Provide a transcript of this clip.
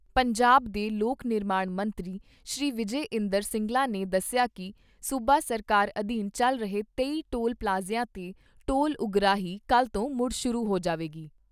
ਪੰਜਾਬ ਦੇ ਲੋਕ ਨਿਰਮਾਣ ਮੰਤਰੀ ਸ੍ਰੀ ਵਿਜੇ ਇੰਦਰ ਸਿੰਗਲਾ ਨੇ ਦੱਸਿਆ ਕਿ ਸੂਬਾ ਸਰਕਾਰ ਅਧੀਨ ਚੱਲ ਰਹੇ ਤੇਈ ਟੋਲ ਪਲਾਜ਼ਿਆਂ 'ਤੇ ਟੋਲ ਉਗਰਾਹੀ ਕੱਲ੍ਹ ਤੋਂ ਮੁੜ ਸ਼ੁਰੂ ਹੋ ਜਾਵੇਗੀ।